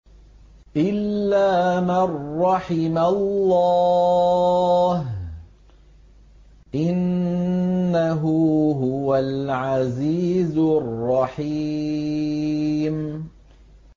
إِلَّا مَن رَّحِمَ اللَّهُ ۚ إِنَّهُ هُوَ الْعَزِيزُ الرَّحِيمُ